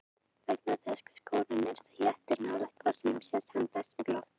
vegna þess hve skógurinn er þéttur nálægt fossinum sést hann best úr lofti